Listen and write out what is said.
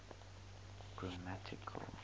grammatical